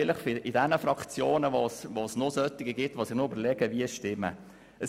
Vielleicht gibt es ja Grossrätinnen und Grossräte, die sich noch überlegen, wie sie stimmen wollen.